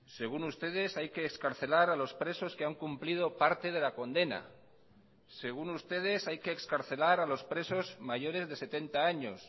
según ustedes hay que excarcelar a los presos que han cumplido parte de la condena según ustedes hay que excarcelar a los presos mayores de setenta años